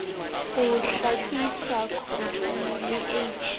ho hlwekise khotone le h